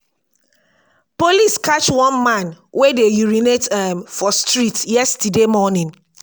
police catch one man wey dey urinate um for street yesterday morning